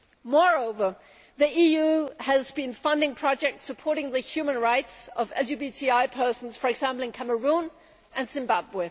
Moreover, the EU has been funding projects supporting the human rights of LGBTI persons, for example in Cameroon and Zimbabwe.